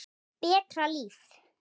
Betra líf.